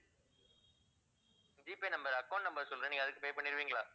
G paynumber account number சொல்றேன் நீங்க அதுக்கு pay பண்ணிடுவீங்களா?